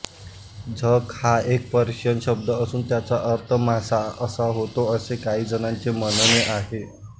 झक हा एक पर्शियन शब्द असून त्याचा अर्थ मासा असा होतो असे काहीजणांचे म्हणणे आहे